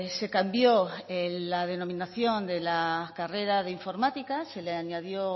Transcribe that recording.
se cambió la denominación de la carrera de informática se le añadió